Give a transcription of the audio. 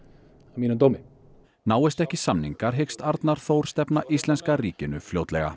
að mínum dómi náist ekki samningar hyggst Arnar Þór stefna íslenska ríkinu fljótlega